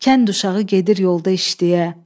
Kənd uşağı gedir yolda işləyə.